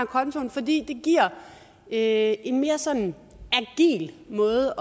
kontoen fordi det giver en en mere sådan agil måde